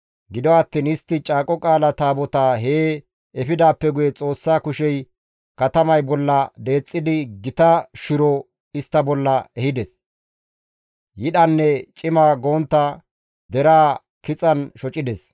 Gido attiin istti Caaqo Qaala Taabotaa hee efidaappe guye Xoossa kushey katamay bolla deexxidi gita shiro istta bolla ehides; Yidhanne cima gontta deraa kixan shocides.